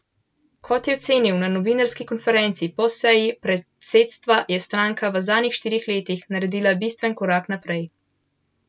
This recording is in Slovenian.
Kot je ocenil na novinarski konferenci po seji predsedstva, je stranka v zadnjih štirih letih naredila bistven korak naprej.